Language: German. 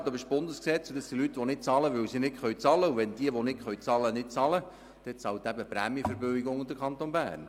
Aber es geht um Leute, die nicht bezahlen können, und wenn sie es nicht tun, dann bezahlen eben die Prämienverbilligungen und der Kanton Bern.